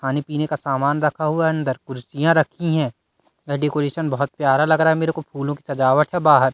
पानी पीने का सामान रखा हुआ है अंदर कुर्सियां रखी है डेकोरेशन बहुत प्यारा लग रहा है मेरे को फूलों की सजावट है बाहर।